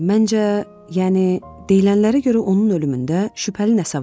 Məncə, yəni deyilənlərə görə onun ölümündə şübhəli nəsə vardı.